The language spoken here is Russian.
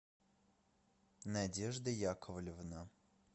надежда яковлевна